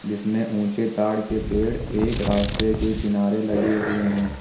जिसमें ऊंचे ताड़ के पेड़ एक रास्ते के किनारे लगे हुए हैं।